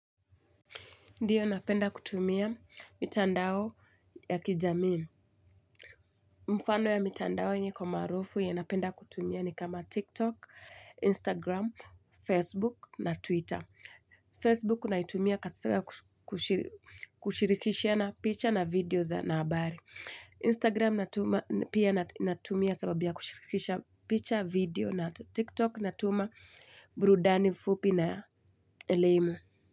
Ndiyo, napenda kutumia mitandao ya kijamii. Mfano ya mitandao yenye iko maarufu yenye napenda kutumia ni kama TikTok, Instagram, Facebook na Twitter. Facebook naitumia kushirikishana picture na video na habari. Instagram pia natumia sababu ya kushirikisha picture, video na TikTok natuma burudani fupi na elimu.